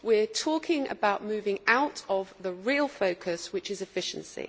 we are talking about moving away from the real focus, which is efficiency.